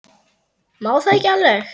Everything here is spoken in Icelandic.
Má það ekki alveg?